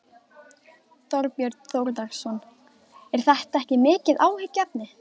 Þorbjörn Þórðarson: Er þetta ekki mikið áhyggjuefni?